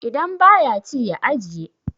idan ba ya ci ya ajiye?